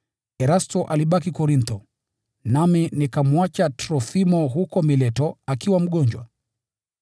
Erasto alibaki Korintho. Nami nikamwacha Trofimo huko Mileto akiwa mgonjwa.